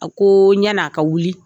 A koo yann'a ka wuli